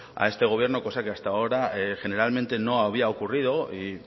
a este gobierno cosa que hasta generalmente no había ocurrido y